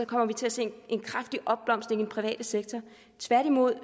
kommer til at se en kraftig opblomstring i den private sektor tværtimod